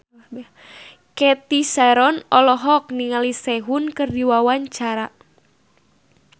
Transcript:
Cathy Sharon olohok ningali Sehun keur diwawancara